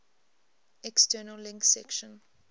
external links section